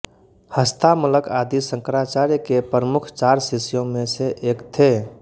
हस्तामलक आदि शंकराचार्य के प्रमुख चार शिष्यों में से एक थे